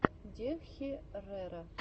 дехерера